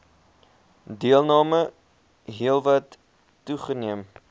deelname heelwat toegeneem